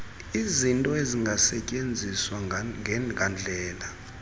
izinto ezingasetyenziswa ngandlela